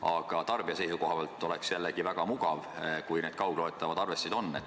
Aga tarbija seisukohalt oleks jällegi väga mugav, kui need kaugloetavad arvestid oleksid olemas.